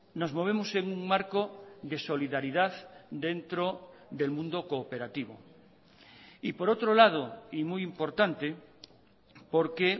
nos movemos en un marco de solidaridad dentro del mundo cooperativo y por otro lado y muy importante porque